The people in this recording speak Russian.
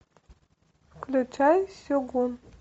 включай сегун